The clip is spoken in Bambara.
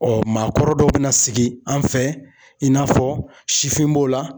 maakɔrɔ dɔ bɛna sigi an fɛ in n'a fɔ sifin b'o la.